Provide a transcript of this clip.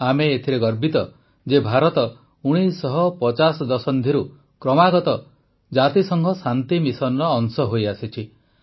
ଆମେ ଏଥିରେ ଗର୍ବିତ ଯେ ଭାରତ ୧୯୫୦ ଦଶନ୍ଧିରୁ କ୍ରମାଗତ ଜାତିସଂଘ ଶାନ୍ତି ମିଶନର ଅଂଶ ହୋଇଆସିଛି